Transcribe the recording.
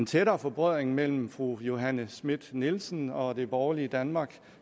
tættere forbrødring mellem fru johanne schmidt nielsen og det borgerlige danmark